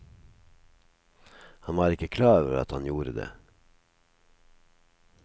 Han var ikke klar over at han gjorde det.